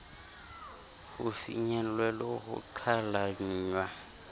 ho finyellwe le ho qhalanngwa